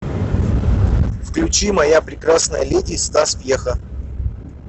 включи моя прекрасная леди стас пьеха